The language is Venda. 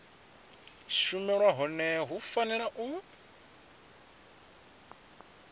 shumelwa hone hu fanela u